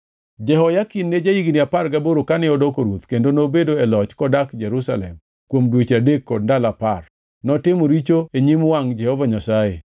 Jehoyakin ne ja-higni apar gaboro kane odoko ruoth kendo nobedo e loch kodak Jerusalem kuom dweche adek kod ndalo apar. Notimo richo e nyim wangʼ Jehova Nyasaye.